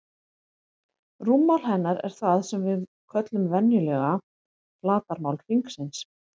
Rúmmál hennar er það sem við köllum venjulega flatarmál hringsins.